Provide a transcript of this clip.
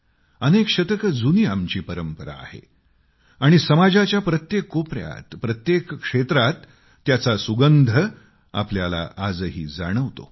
अनेक शतकं जुनी आमची परंपरा आहे आणि समाजाच्या प्रत्येक कोपर्यात प्रत्येक क्षेत्रात त्याचा सुगंध आपल्याला आजही जाणवतो